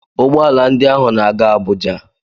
Ụgbọala ndị ahụ na-aga Abuja